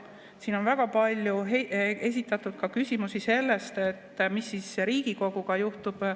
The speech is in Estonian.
Siin on väga palju esitatud küsimusi selle kohta, et mis siis Riigikoguga juhtub.